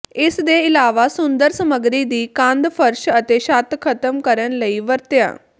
ਇਸ ਦੇ ਇਲਾਵਾ ਸੁੰਦਰ ਸਮੱਗਰੀ ਦੀ ਕੰਧ ਫਰਸ਼ ਅਤੇ ਛੱਤ ਖ਼ਤਮ ਕਰਨ ਲਈ ਵਰਤਿਆ